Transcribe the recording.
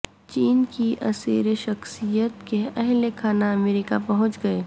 چین کی اسیر شخصیت کے اہل خانہ امریکہ پہنچ گئے